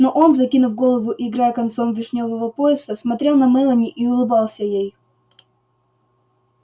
но он закинув голову и играя концом вишнёвого пояса смотрел на мелани и улыбался ей